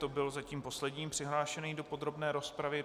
To byl zatím poslední přihlášený do podrobné rozpravy.